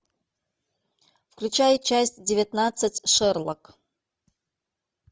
включай часть девятнадцать шерлок